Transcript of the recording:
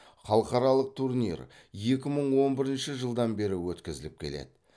халықаралық турнир екі мың он бірінші жылдан бері өткізіліп келеді